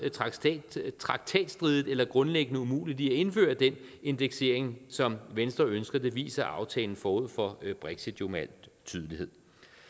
traktatstridigt eller grundlæggende umuligt ved at indføre den indeksering som venstre ønsker det viser aftalen forud for brexit jo med al tydelighed